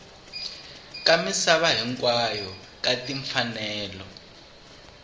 ka misava hinkwayo ka timfanelo